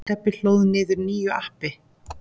Stebbi hlóð niður nýju appi.